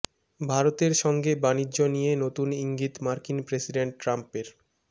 ভারতের সঙ্গে বাণিজ্য নিয়ে নতুন ইঙ্গিত মার্কিন প্রেসিডেন্ট ট্রাম্পের